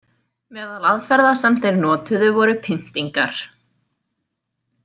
Meðal aðferða sem þeir notuðu voru pyntingar.